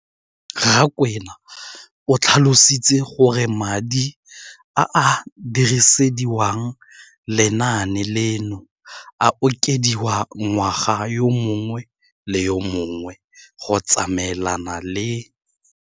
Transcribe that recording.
Rakwena o tlhalositse gore madi a a dirisediwang lenaane leno a okediwa ngwaga yo mongwe le yo mongwe go tsamaelana le